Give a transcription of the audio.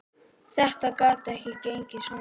Þetta gat ekki gengið svona.